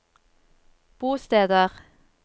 bosteder